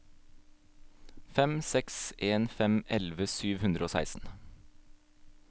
fem seks en fem elleve sju hundre og seksten